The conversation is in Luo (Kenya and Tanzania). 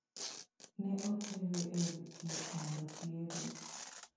Ne otere e od thieth mondo othiedhe.